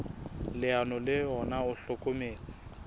leano le ona o hlokometse